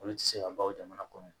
Olu tɛ se ka ban o jamana kɔnɔ